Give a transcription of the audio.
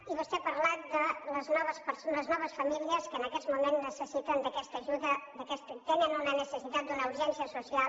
i vostè ha parlat de les noves famílies que en aquests moments necessiten aquesta ajuda tenen una necessitat d’una urgència social